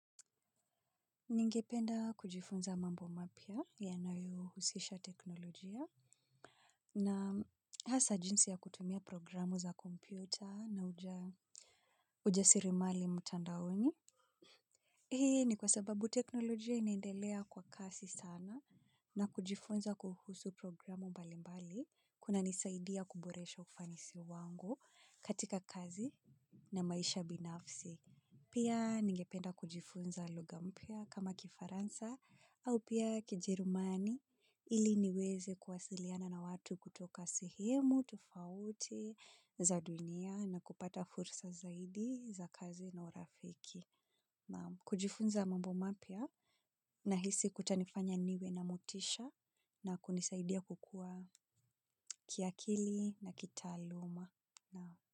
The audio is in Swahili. Ningependa kujifunza mambo mapya yanayohusisha teknolojia na hasa jinsi ya kutumia programu za kompyuta na ujasirimali mtandaoni. Hii ni kwa sababu teknolojia inaendelea kwa kasi sana na kujifunza kuhusu programu mbali mbali kunanisaidia kuboresha ufanisi wangu katika kazi na maisha binafsi. Pia ningependa kujifunza lugha mpya kama kifaransa au pia kijerumani ili niweze kuwasiliana na watu kutoka sehemu tofauti za dunia na kupata fursa zaidi za kazi na urafiki. Kujifunza mambo mapya nahisi kutanifanya niwe na motisha na kunisaidia kukua kiakili na kitaaluma.